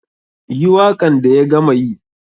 Yi wakan da ya gama yi.